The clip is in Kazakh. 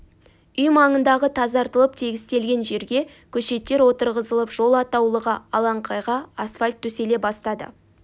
үй маңындағы тазартылып тегістелген жерге көшеттер отырғызылып жол атаулыға алаңқайға асфальт төселе бастады